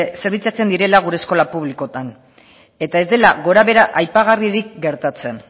zerbitzatzen direla gure eskola publikoetan eta ez dela gorabehera aipagarririk gertatzen